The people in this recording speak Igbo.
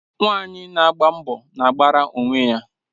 Nwanyị na agba mbọ na-agbara onwe ya.